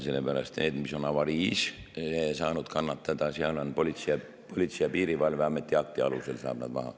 Nende puhul, mis on avariis kannatada saanud, saab nad maha võtta Politsei‑ ja Piirivalveameti akti alusel.